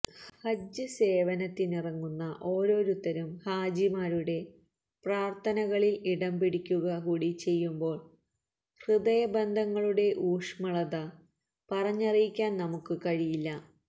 ഹജ്ജ് സേവനത്തിനിറങ്ങുന്ന ഓരോരുത്തരും ഹാജിമാരുടെ പ്രാര്ഥനകളില് ഇടം പിടിക്കുക കൂടി ചെയ്യുമ്പോള് ഹൃദയ ബന്ധങ്ങളുടെ ഊഷ്മളത പറഞ്ഞറിയിക്കാന് നമുക്ക് കഴിയില്ല